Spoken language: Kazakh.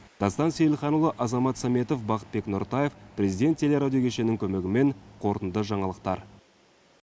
дастан сейілханұлы азамат саметов бақытбек нұртаев президент телерадио кешенінің көмегімен қорытынды жаңалықтар